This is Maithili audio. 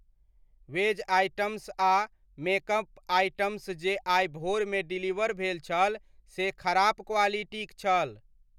वेज आइटम्स आ मेकअप आइटम्स जे आइ भोरमे डिलीवर भेल छल से खराप क्वालिटीक छल।